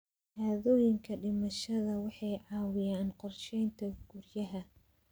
Shahaadooyinka dhimashada waxay caawiyaan qorsheynta guryaha.